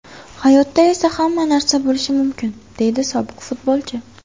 Hayotda esa hamma narsa bo‘lishi mumkin, deydi sobiq futbolchi.